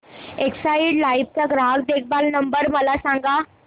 Exide Life चा ग्राहक देखभाल नंबर मला सांगा